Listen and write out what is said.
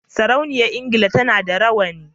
Sarauniyar engila tAna da rawani